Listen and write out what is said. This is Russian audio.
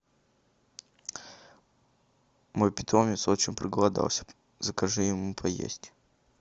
мой питомец очень проголодался закажи ему поесть